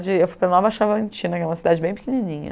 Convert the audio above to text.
Eu fui para Nova Chavantina, que é uma cidade bem pequenininha.